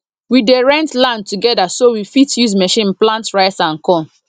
we dey rent land together so we fit use machine plant rice and corn